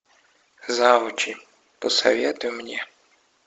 завучи посоветуй мне